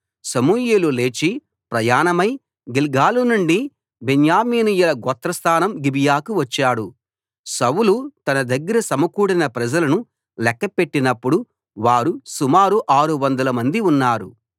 సమూయేలు లేచి ప్రయాణమై గిల్గాలు నుండి బెన్యామీనీయుల గోత్రస్థానం గిబియాకు వచ్చాడు సౌలు తన దగ్గర సమకూడిన ప్రజలను లెక్కపెట్టినపుడు వారు సుమారు ఆరు వందలమంది ఉన్నారు